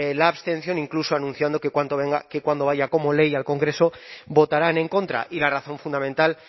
la abstención incluso anunciando que cuando vaya como ley al congreso votarán en contra y la razón fundamental